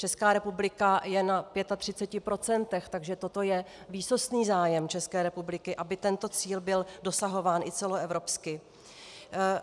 Česká republika je na 35 %, takže toto je výsostný zájem České republiky, aby tento cíl byl dosahován i celoevropsky.